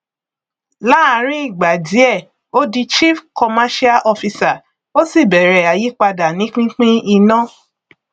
láàrín ìgbà díẹ ó di chief commercial officer ó sì bẹrẹ àyípadà ní pínpín iná